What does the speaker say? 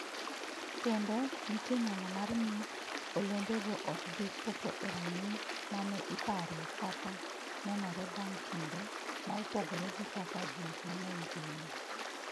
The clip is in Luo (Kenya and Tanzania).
Kendo, nitie nyalo mar ni olembego ok bi chopo e rang’iny ma ne ipare kata nenore bang’ kinde, ma opogore gi kaka ji mang’eny geno.